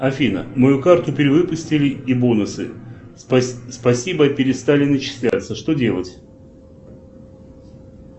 афина мою карту перевыпустили и бонусы спасибо перестали начисляться что делать